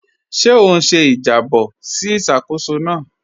Ṣé ó n ṣè ìjàbọ̀ sí ìṣákóṣọ́ náà?